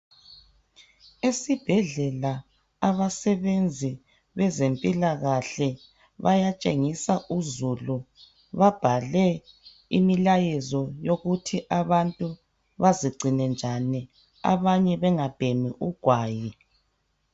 Esibhedlela abasebenzi abezempilakahle bayatshengisa uzulu babhale imilayezo yokuthi abantu bazingcine njani abanye bengabhemi ugwayi